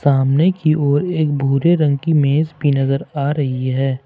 सामने की ओर एक भूरे रंग की मेज भी नजर आ रही है।